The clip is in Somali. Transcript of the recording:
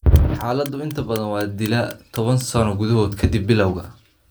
Xaaladdu inta badan waa dilaa toban sano gudahood ka dib bilawga.